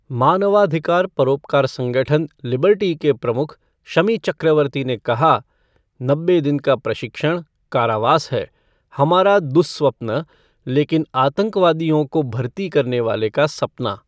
मानवाधिकार परोपकार संगठन, लिबर्टी के प्रमुख शमी चक्रवर्ती ने कहा "नब्बे दिन का प्रशिक्षण, कारावास है, हमारा दुःस्वप्न लेकिन आतंकवादियों को भर्ती करने वाले का सपना।"